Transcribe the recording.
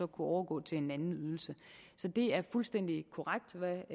overgå til en anden ydelse så det er fuldstændig korrekt hvad